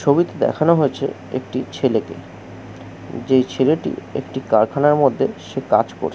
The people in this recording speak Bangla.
ছবিটা দেখানো হয়েছে একটি ছেলেকে যে ছেলেটি একটি কারখানার মধ্যে সে কাজ কোর --